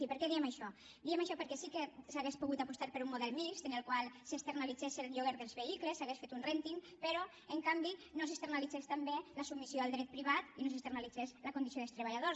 i per què diem això diem això perquè sí que s’hauria pogut apostar per un model mixt en el qual s’externalitzés el lloguer dels vehicles s’hagués fet un rènting però en canvi no s’externalitzés també la submissió al dret privat i no s’externalitzés la condició dels treballadors